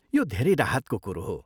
यो धेरै राहतको कुरो हो।